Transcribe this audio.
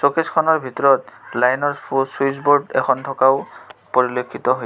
Showcase খনৰ ভিতৰত line ৰ চুইটছ বোৰ্ড এখন থকা ও পৰিলক্ষিত হৈছে.